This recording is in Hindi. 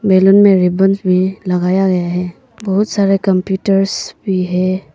बेलून में रिबन्स भी लगाया गया है बहुत सारा कंप्यूटर्स भी है।